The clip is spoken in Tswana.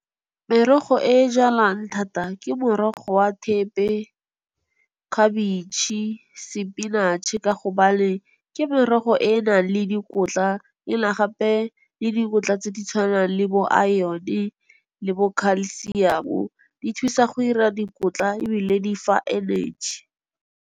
Merogo e e jalwang thata ke morogo wa thepe, khabetšhe, sepinatšhe ka gobane, ke merogo e e nang le dikotla ena gape le dikotla tse di tshwanang le bo iron-e le bo calcium-o, di thusa go ira dikotla ebile difa energy.